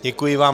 Děkuji vám.